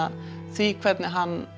því hvernig hann